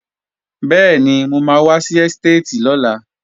Bẹ́ẹ̀ni, mo máa wá sí ẹ́stéètì lọ́la